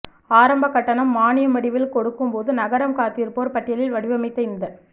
ஆரம்ப கட்டணம் மானியம் வடிவில் கொடுக்கும்போது நகரம் காத்திருப்போர் பட்டியலில் வடிவமைத்த இந்த